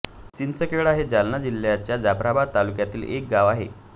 चिंचखेडा हे जालना जिल्ह्याच्या जाफ्राबाद तालुक्यातील एक गाव आहे